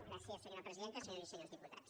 gràcies senyora presidenta senyores i senyors diputats